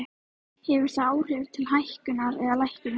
Hefur það áhrif til hækkunar eða lækkunar?